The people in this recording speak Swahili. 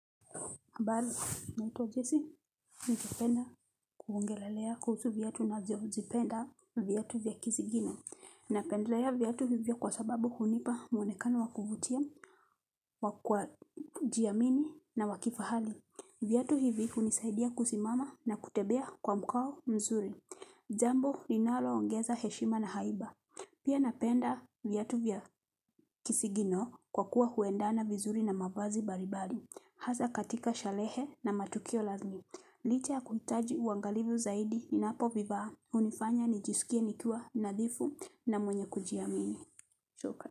Habari, naitwa jisi, ningependa kuongelelea kuhusu viatu na ziozi penda viatu vya kisigino. Napendalea viatu hivyo kwa sababu hunipa mwonekano wa kuvutia wa kwa jiamini na wa kifahali. Viatu hivi ku nisaidia kusimama na kutebea kwa mkao mzuri. Jambo linaloongeza heshima na haiba. Pia napenda viatu vya kisigino kwa kuwa huendana vizuri na mavazi baribali. Hasaa katika shalehe na matukio lazmi. Licha ya kuhitaji uangalivu zaidi ninapovivaa. Hunifanya nijisikie nikiwa nadhifu na mwenye kujiamini. Choka.